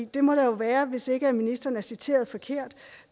det må der jo være hvis ikke ministeren er citeret forkert